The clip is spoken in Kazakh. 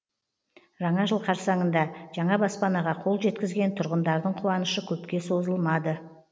жаңа жыл қарсаңында жаңа баспанаға қол жеткізген тұрғындардың қуанышы көпке созылмады